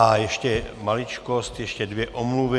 A ještě maličkost, ještě dvě omluvy.